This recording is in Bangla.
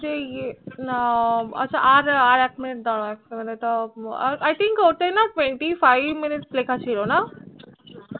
যে এয়ে না আর এক minute দাড়াও i think ওতে Twentyfive Minute লেখা ছিল না